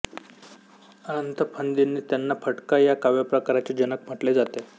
अनंत फंदींनी त्यांना फटका या काव्यप्रकाराचे जनक म्हटले जाते